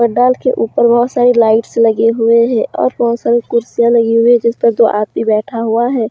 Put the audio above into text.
पंडाल के ऊपर बहोत सारी लाइट्स लगे हुए हैं और बहोत सारी कुर्सियां लगी हुई है जिस पर दो आदमी बैठा हुआ है।